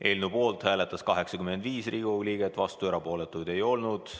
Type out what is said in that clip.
Eelnõu poolt hääletas 85 Riigikogu liiget, vastuolijaid ega erapooletuid ei olnud.